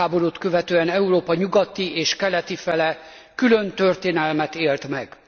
világháborút követően Európa nyugati és keleti fele külön történelmet élt meg.